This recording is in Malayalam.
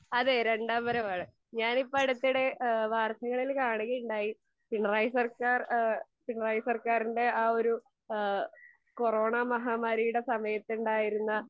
അതെ രണ്ടാം വരവാണ് ഞാനിപ്പോ അടുത്തിടെ ഏഹ് വാർത്തകളിൽ കാണുകയുണ്ടായി പിണറായി സർക്കാർ എഹ് പിണറായി സർക്കാരിൻ്റെ ആ ഒരു ഏഹ് കൊറോണ മഹാമാരിയുടെ സമയത്തുണ്ടായിരുന്ന